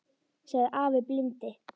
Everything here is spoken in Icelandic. sagði afi blindi.